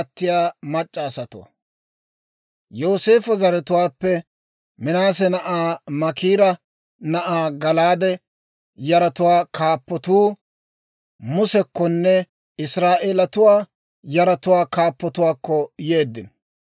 Yooseefo zaratuwaappe, Minaase na'aa Maakiira na'aa Gala'aade yaratuwaa kaappatuu Musekkonne Israa'eelatuwaa yaratuwaa kaappatuwaakko yeeddino.